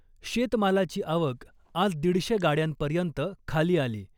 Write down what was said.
शेतमालाची आवक आज दीडशे गाड्यांपर्यंत खाली आली .